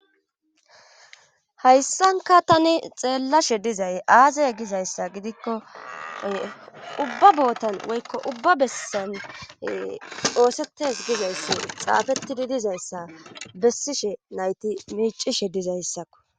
hayssanka tani xeellashe dizay aazay gizayssa gidikko ubba bootan woykko ubba bessan doosetes gizayssi xaafettidi dizayssa bessishe nayti miicishe dizayssakko